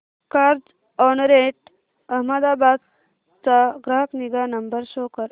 Carzonrent Ahmedabad चा ग्राहक निगा नंबर शो कर